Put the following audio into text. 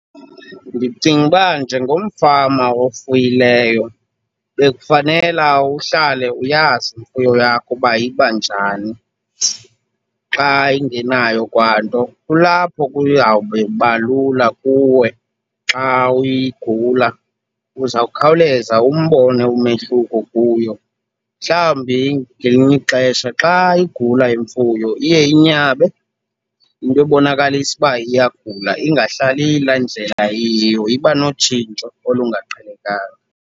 Ndicinga uba njengomfama ofuyileyo bekufanela uhlale uyazi imfuyo yakho uba iba njani xa ingenayo kwanto. Kulapho kuyawube kuba lula kuwe xa igula, uzawukhawuleza umbone umehluko kuyo. Mhlawumbi ngelinye ixesha xa igula imfuyo iye inyabe into ebonakalisa uba iyagula, ingahlali iyila ndlela iyiyo. Iba notshintsho olungaqhelekanga.